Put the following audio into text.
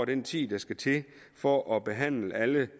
den tid der skal til for at behandle alle